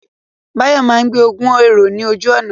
Báyọ̀ máa gbé ogún èrò ní ojú ọ̀nà